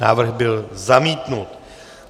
Návrh byl zamítnut.